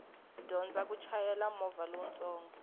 dyondza ku chayela movha lowutsongo